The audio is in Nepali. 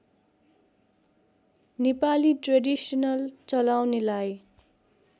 नेपाली ट्रेडिसनल चलाउनेलाई